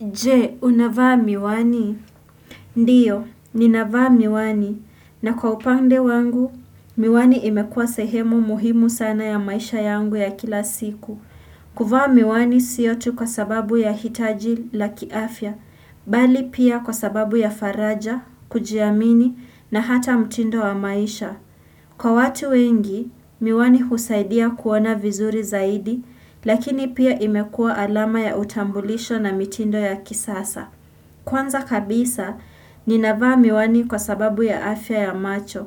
Je, unavaa miwani? Ndiyo, ninavaa miwani. Na kwa upande wangu, miwani imekua sehemu muhimu sana ya maisha yangu ya kila siku. Kuvaa miwani siyo tu kwa sababu ya hitaji la kiafya, bali pia kwa sababu ya faraja, kujiamini, na hata mtindo wa maisha. Kwa watu wengi, miwani husaidia kuona vizuri zaidi, lakini pia imekua alama ya utambulisho na mitindo ya kisasa. Kwanza kabisa, ninavaa miwani kwa sababu ya afya ya macho.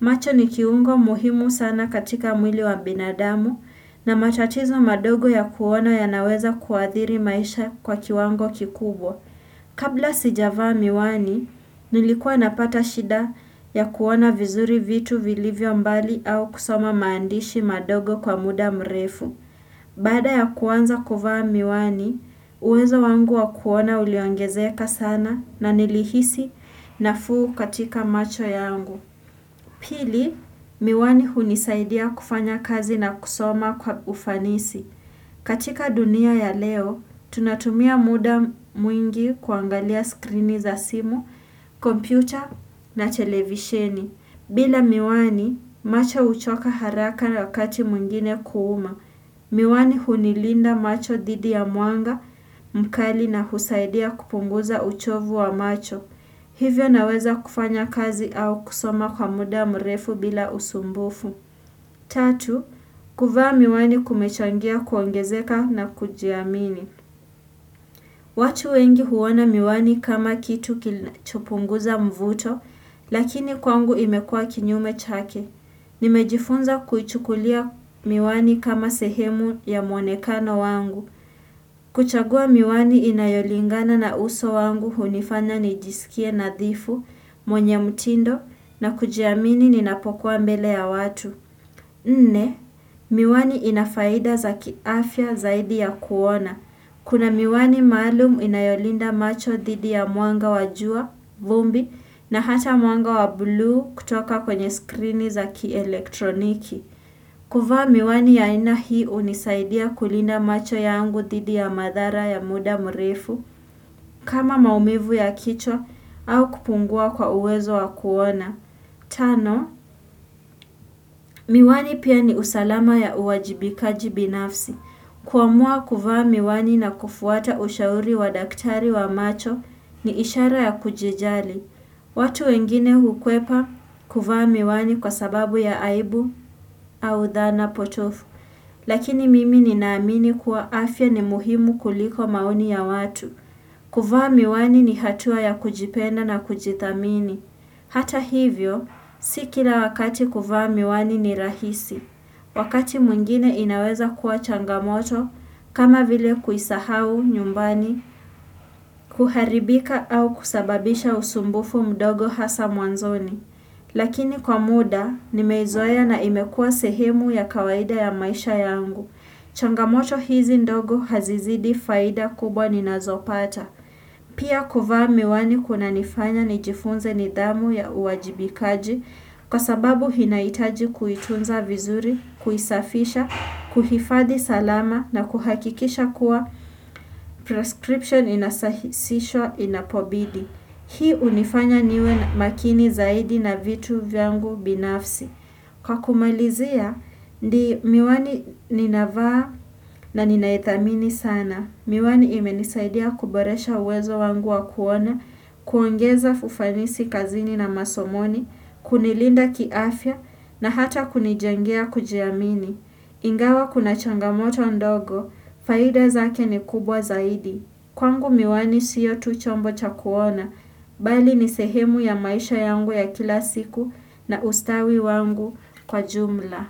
Macho ni kiungo muhimu sana katika mwili wa binadamu na matatizo madogo ya kuona yanaweza kuathiri maisha kwa kiwango kikubwa. Kabla sijavaa miwani, nilikua napata shida ya kuona vizuri vitu vilivyo mbali au kusoma maandishi madogo kwa muda mrefu. Baada ya kuanza kuvaa miwani, uwezo wangu wa kuona uliongezeka sana na nilihisi nafuu katika macho yangu. Pili, miwani hunisaidia kufanya kazi na kusoma kwa ufanisi. Katika dunia ya leo, tunatumia muda mwingi kuangalia skrini za simu, kompyuta na televisheni. Bila miwani, macho huchoka haraka na wakati mwingine kuuma. Miwani hunilinda macho dhidi ya mwanga mkali na husaidia kupunguza uchovu wa macho. Hivyo naweza kufanya kazi au kusoma kwa muda mrefu bila usumbufu. Tatu, kuvaa miwani kumechangia kuongezeka na kujiamini. Watu wengi huoana miwani kama kitu kinachopunguza mvuto, lakini kwangu imekua kinyume chake. Nimejifunza kuchukulia miwani kama sehemu ya mwonekano wangu. Kuchagua miwani inayolingana na uso wangu hunifanya nijisikie nadhifu, mwenye mtindo na kujiamini ninapokuwa mbele ya watu. Nne, miwani inafaida za kiafya zaidi ya kuona. Kuna miwani maalum inayolinda macho dhidi ya mwanga wa jua, vumbi, na hata mwanga wa bluu kutoka kwenye skrini za kielektroniki. Kuvaa miwani ya aina hii hunisaidia kulinda macho yangu dhidi ya madhara ya muda mrefu, kama maumivu ya kichwa au kupungua kwa uwezo wa kuona. Tano, miwani pia ni usalama ya uwajibikaji binafsi. Kuamua kuvaa miwani na kufuata ushauri wa daktari wa macho ni ishara ya kujijali. Watu wengine hukwepa kuvaa miwani kwa sababu ya aibu au dhana potovu. Lakini mimi ninaamini kuwa afya ni muhimu kuliko maoni ya watu. Kuvaa miwani ni hatua ya kujipenda na kujithamini. Hata hivyo, si kila wakati kuvaa miwani ni rahisi. Wakati mwingine inaweza kuwa changamoto, kama vile kuisahau nyumbani, kuharibika au kusababisha usumbufu mdogo hasa mwanzoni. Lakini kwa muda, nimeizoea na imekuwa sehemu ya kawaida ya maisha yangu. Changamoto hizi ndogo hazizidi faida kubwa ninazopata. Pia kuvaa miwani kunanifanya nijifunze nidhamu ya uwajibikaji kwa sababu inahitaji kuitunza vizuri, kuisafisha, kuhifadi salama na kuhakikisha kuwa prescription inasahisishwa inapobidi. Hii hunifanya niwe makini zaidi na vitu vyangu binafsi. Kwa kumalizia, ni miwani ninavaa na ninaithamini sana. Miwani imenisaidia kuboresha uwezo wangu wa kuona, kuongeza ufanisi kazini na masomoni, kunilinda kiafya na hata kunijangia kujiamini. Ingawa kuna changamoto ndogo, faida zake ni kubwa zaidi. Kwangu miwani siyo tu chombo chakuona, bali ni sehemu ya maisha yangu ya kila siku na ustawi wangu kwa jumla.